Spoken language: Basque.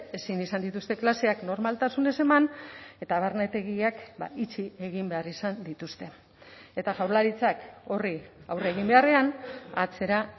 ezin izan dituzte klaseak normaltasunez eman eta barnetegiak itxi egin behar izan dituzte eta jaurlaritzak horri aurre egin beharrean atzera